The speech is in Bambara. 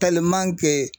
kɛ